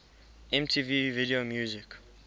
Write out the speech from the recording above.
mtv video music